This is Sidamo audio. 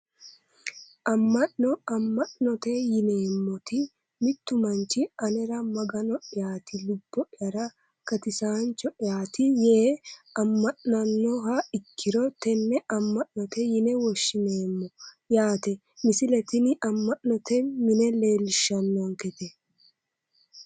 Amma'no amma'note yineemmoti mittu manchi anera magano'yaati lubbo'yara gatisaancho'yaati yee amma'nannoha ikkiro tenne amma'note yine woshshineemmo yaate misile tini amma'note mine leellishshannonkete